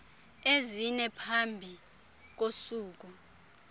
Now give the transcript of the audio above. ezine phambi kosuku